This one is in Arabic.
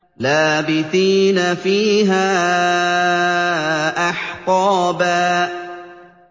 لَّابِثِينَ فِيهَا أَحْقَابًا